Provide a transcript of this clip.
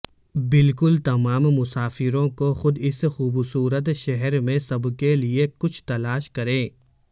بالکل تمام مسافروں کو خود اس خوبصورت شہر میں سب کے لئے کچھ تلاش کریں